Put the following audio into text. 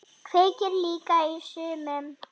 Kveikir líka í sumum.